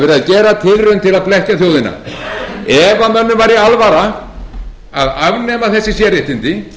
til þess að blekkja þjóðina ef mönnum væri alvara að afnema þessi sérréttindi